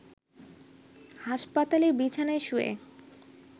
হাসপাতালের বিছানায় শুয়ে